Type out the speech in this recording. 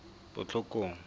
botlhokong